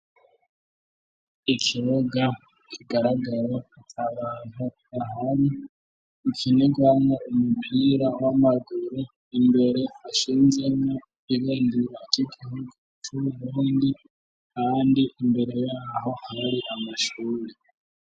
Ikibuga kigaraga ata bantu bahari, gikinirwamwo umupira w'amaguru imbere hashinzemwo ibendera ry'igihugu c'Uburundi kandi imbere yaho hari amashuri.